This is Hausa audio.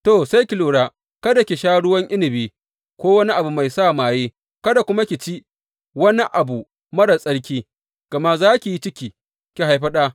To, sai ki lura kada ki sha ruwan inabi ko wani abu mai sa maye, kada kuma ki ci wani abu marar tsarki, gama za ki yi ciki, ki haifi ɗa.